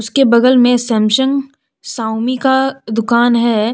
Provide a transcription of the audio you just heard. उसके बगल में सैमसंग श्यओमी का दुकान है।